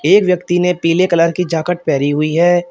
एक व्यक्ति ने पीले कलर की जॉकट पहेरि हुई है।